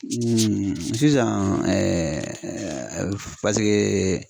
sisan paseke